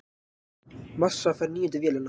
Massa fær níundu vélina